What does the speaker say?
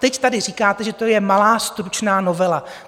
Teď tady říkáte, že to je malá stručná novela.